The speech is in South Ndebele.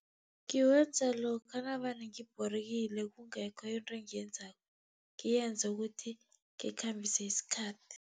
Ngiwenza lokha navane ngibhorekile kungekho into engiyenzako, ngiyenze ukuthi ngikhambise isikhathi.